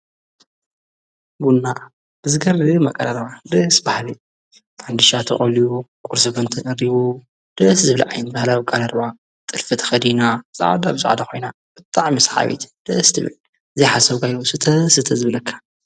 ብና ብዝገድ መቀለርባ ድስ ባሕል ፋንድሻ ተቐልዎ ቊር ስበንቲ እሪቡ ድስ ዝብለዓይን በሃላዊቃልኣርባ ጥልፍት ኸዲና ፃዓዶ ኣብዛዕዳ ኾይና ብታዕ ምስ ሓበት ደስትቢዕ ዘይሓሠው ገሉ ስተ ስተዘብለካ።